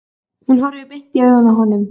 Hún horfir beint í augu honum.